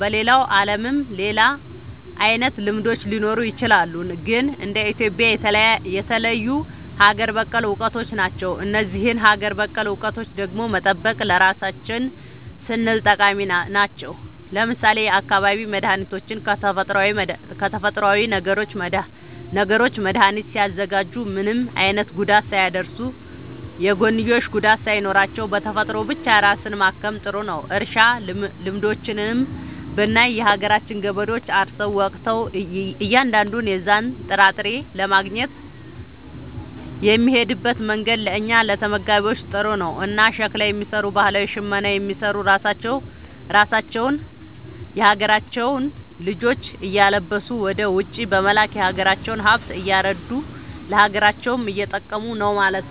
በሌላው ዓለምም ሌላ አይነት ልምዶች ሊኖሩ ይችላሉ። ግን እንደ ኢትዮጵያ የተለዩ ሀገር በቀል እውቀቶች ናቸው። እነዚህን ሀገር በቀል እውቀቶች ደግሞ መጠበቅ ለራሳችን ስንል ጠቃሚ ናቸው። ለምሳሌ የአካባቢ መድኃኒቶችን ከተፈጥሮዊ ነገሮች መድኃኒት ሲያዘጋጁ ምንም አይነት ጉዳት ሳያደርሱ፣ የጎንዮሽ ጉዳት ሳይኖራቸው፣ በተፈጥሮ ብቻ ራስን ማከም ጥሩ ነዉ። እርሻ ልምዶችንም ብናይ የሀገራችን ገበሬዎች አርሰው ወቅተው እያንዳንዱን የዛን ጥራጥሬ ለማግኘት የሚሄድበት መንገድ ለእኛ ለተመጋቢዎች ጥሩ ነው። እና ሸክላ የሚሰሩ ባህላዊ ሽመና የሚሰሩ ራሳቸውን የሀገራቸውን ልጆች እያለበሱ ወደ ውጪ በመላክ የሀገራቸውን ሃብት እያረዱ ለሀገራቸውም እየጠቀሙ ነው ማለት።